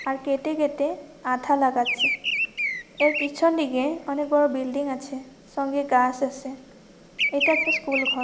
আর কেটে কেটে আঠা লাগাচ্ছে। এর পিছন দিকে অনেক বড় বিল্ডিং আছে। সঙ্গে গাছ আছে। এটা একটা স্কুল ঘর।